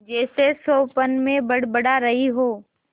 जैसे स्वप्न में बड़बड़ा रही हो